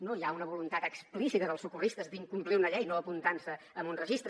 no hi ha una voluntat explícita dels socorristes d’incomplir una llei no apuntant se en un registre